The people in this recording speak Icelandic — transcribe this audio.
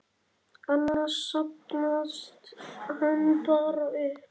Annars safnast hann bara upp.